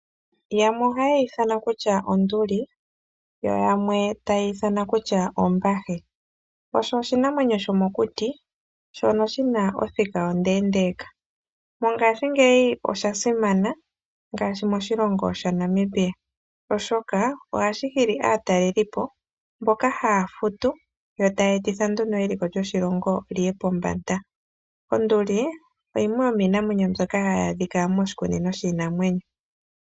Yamwe ohaye yi ithana kutya onduli yo yamwe taye yi ithana kutya ombahe. Osho oshinamwenyo shomokuti shono shi na othika ondeendeeka. Mongashingeyi osha simana, ngaashi moshilongo shaNamibia, oshoka ohashi nana aatalelipo mboka haya futu taya etitha nduno eliko lyoshilongo li ye pombanda. Onduli yimwe yomiinamwenyo mbyoka hayi adhika moshikunino shiinamwenyo.